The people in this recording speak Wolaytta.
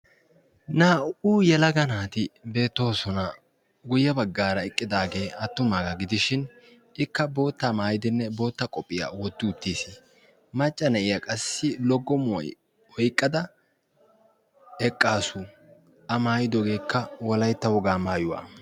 Naa"u yalaga naati beettoosona guyye baggaara eqqidaagee attumaagaa gidishin ikka boottaa maayidinne bootta qophphiyaa wotti uttiis macca na'iyaa qassi loggo muoi oiqqada eqqaasu a maayidogeekka wolaytta wogaa maayuwaa.